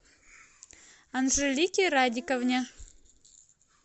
анжелике радиковне